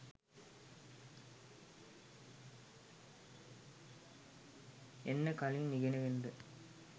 එන්න කලින් ඉගෙනගෙනද